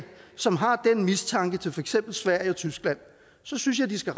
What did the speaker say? som har den mistanke til for eksempel sverige og tyskland så synes jeg de skal